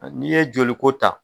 N'i ye joliko ta.